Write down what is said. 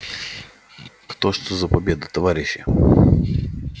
как что за победа товарищи